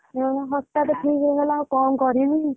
ହୁଁ ହଠାତ ଠିକ ହେଇଗଲା ଆଉ କଣ କରିବି।